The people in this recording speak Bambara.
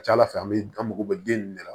Ca ala fɛ an bɛ an mago bɛ den nin de la